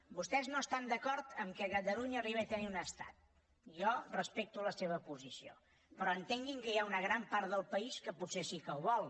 vostès no estan d’acord que catalunya arribi a tenir un estat jo respecto la seva posició però entenguin que hi ha una gran part del país que potser sí que ho vol